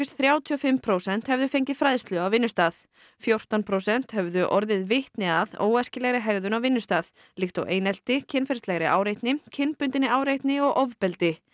þrjátíu og fimm prósent hefðu fengið fræðslu á vinnustað fjórtán prósent höfðu orðið vitni að óæskilegri hegðun á vinnustað líkt og einelti kynferðislegri áreitni kynbundinni áreitni og ofbeldi